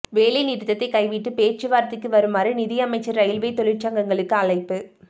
வேலை நிறுத்தத்தை கைவிட்டு பேச்சுவார்த்தைக்கு வருமாறு நிதி அமைச்சர் ரயில்வே தொழிற்சங்கங்களுக்கு அழைப்பு